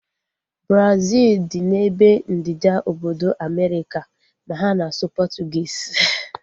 Brazil dị n'ebe ndịda obodo Amerịka ma ha na-asụ Portuguese